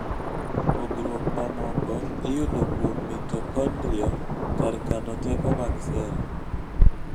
pogruok mamoko iyudo kuom mitokondria , kar kano teko mag sel